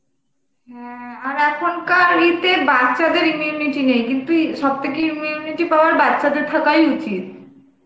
হ্যাঁ আর এখন কার ই তে বাচ্চাদের immunity নেই কিন্তু ই সব থাকে immunity power বাচ্চাদের থাকাই উচিত